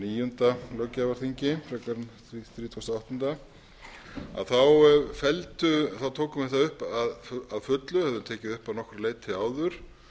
níunda löggjafarþingi frekar en hundrað þrítugasta og áttunda þá tókum við það fullu höfðum tekið að upp að nokkru leyti áður